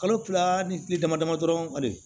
Kalo kila ni kile dama dama dɔrɔn a de